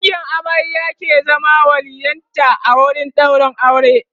dangin amarya ke zama waliyyin ta a wurin ɗaurin aure